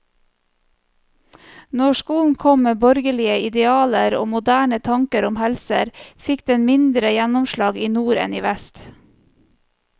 Når skolen kom med borgerlige idealer og moderne tanker om helse, fikk den mindre gjennomslag i nord enn i vest.